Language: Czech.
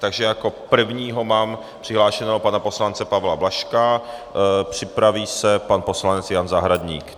Takže jako prvního mám přihlášeného pana poslance Pavla Blažka, připraví se pan poslanec Jan Zahradník.